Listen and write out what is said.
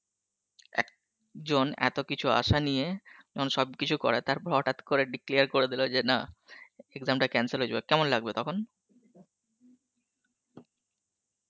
এক জন এত কিছু আশা নিয়ে যখন সব কিছু করে তারপর হটাত করে declare করে দিল যে না exam টা cancel হয়ে যাবে, কেমন লাগবে তখন?